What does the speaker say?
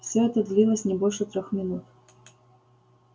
все это длилось не больше трёх минут